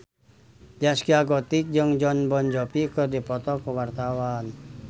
Zaskia Gotik jeung Jon Bon Jovi keur dipoto ku wartawan